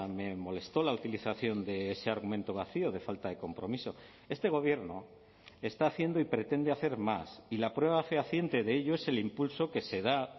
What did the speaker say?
me molesto la utilización de ese argumento vacío de falta de compromiso este gobierno está haciendo y pretende hacer más y la prueba fehaciente de ello es el impulso que se da